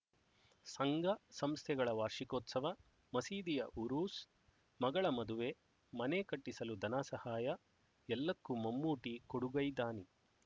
ಸಂಘ ಸಂಸ್ಥೆಗಳ ವಾರ್ಷಿಕೋತ್ಸವ ಮಸೀದಿಯ ಉರೂಸ್ ಮಗಳ ಮದುವೆ ಮನೆ ಕಟ್ಟಿಸಲು ಧನ ಸಹಾಯ ಎಲ್ಲಕ್ಕೂ ಮಮ್ಮೂಟಿ ಕೊಡುಗೈದಾನಿ